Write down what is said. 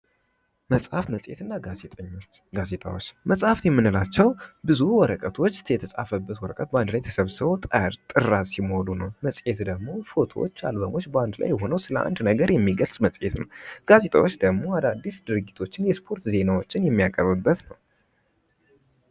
መፅሀፍ መፅሔት እና ጋዜጤዎች :- መፅሐፍት የምንላቸዉ ብዙ ወረቀቶች የተፃፈበት ወረቀት በአንድ ላይ ተሰብስቦ አንድ ጥራዝ ሲሞሉ ነዉ። መፅሔት ደግሞ ፎቶዎች አልበሞች በአንድ ላይ ሆነዉ ስለአንድ ነገር የሚገልፅ መፅሔት ነዉ። ጋዜጣዎች ደግሞ አዳዲስ ድርጊቶችን የስፖርት ዜናዎችን የሚቀርብበት ነዉ።